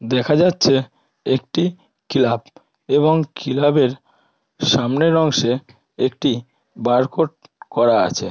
দেখা যাচ্ছে একটি ক্লাব এবং কিলাবের সামনের অংশে একটি বারকোড করা আছে।